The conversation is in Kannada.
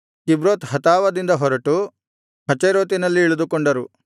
ಕಿಬ್ರೋತ್ ಹತಾವದಿಂದ ಹೊರಟು ಹಚೇರೋತಿನಲ್ಲಿ ಇಳಿದುಕೊಂಡರು